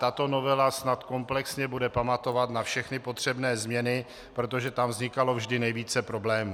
Tato novela snad komplexně bude pamatovat na všechny potřebné změny, protože tam vznikalo vždy nejvíce problémů.